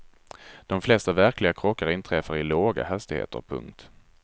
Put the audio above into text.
De flesta verkliga krockar inträffar i låga hastigheter. punkt